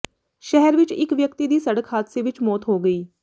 ਸ਼ਹਿਰ ਵਿੱਚ ਇੱਕ ਵਿਅਕਤੀ ਦੀ ਸੜਕ ਹਾਦਸੇ ਵਿੱਚ ਮੌਤ ਹੋ ਗਈ